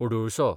अडुळसो